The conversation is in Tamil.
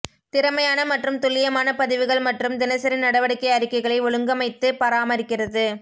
திறமையான மற்றும் துல்லியமான பதிவுகள் மற்றும் தினசரி நடவடிக்கை அறிக்கைகளை ஒழுங்கமைத்து பராமரிக்கிறது